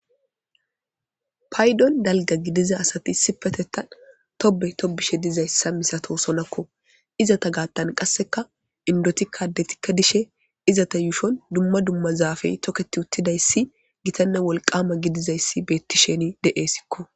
Paydon dalga gidiza asati issipetetan tobe tobishe dizaysa misatosonako izeta gaathan kaseka indotika addetika de'ishin izeta yuushon duma duma zaafe toketutidaysika gitane wolqama gidizaysi beetidi de'esiko.